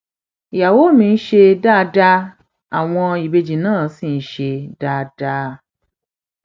ìyàwó mi ń ṣe dáadáa àwọn ìbejì náà ṣì ń ṣe dáadáa